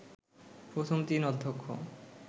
প্রথম তিন অধ্যক্ষ